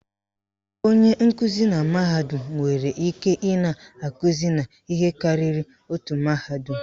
Onye nkụzi na mahadum nwere ike ị na-akụzi n'ihe karịrị otu mahadum